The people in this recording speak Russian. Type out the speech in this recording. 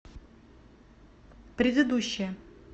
предыдущая